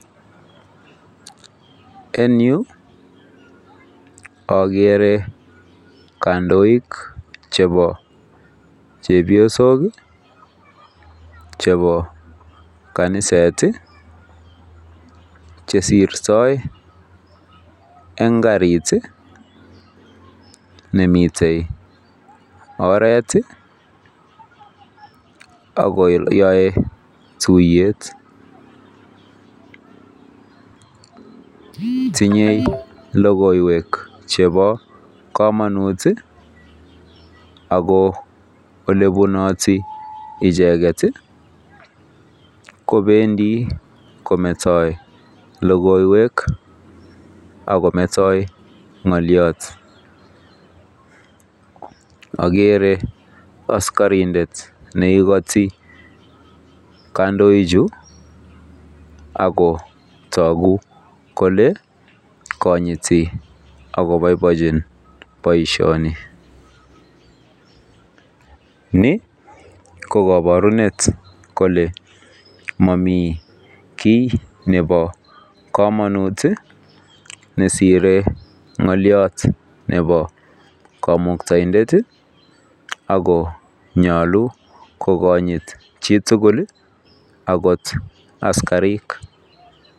En yu akeere kandoik chebo chebiosok chebo kaniset chesirtoi eng karit nesirtoi eng oret akoyae tuiyet. Tinye logoiwek chebo komonut ako olebunoti bichu kobendi kometoi logoiwek. Akeere askarindet neikoti kandoichu ako toogu kole konyiti akoboibojin boisioni. Ni ko kaabarunet kole momite kiy nesire ng'oliot nebo kamuktaindet ako nyolu kokonyit chitukul agot askarik.